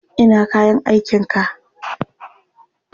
Ina kayan aikinka?